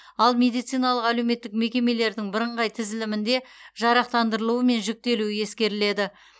ал медициналық әлеуметтік мекемелердің бірыңғай тізілімінде жарақтандырылуы мен жүктелуі ескеріледі